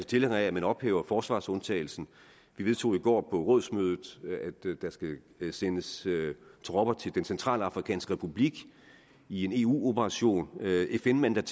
tilhænger af at man ophæver forsvarsundtagelsen vi vedtog i går på rådsmødet at der skal sendes tropper til den centralafrikanske republik i en eu operation med fn mandat